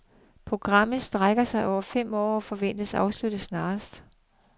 Programmet strækker sig over fem år og forventes afsluttet snarest.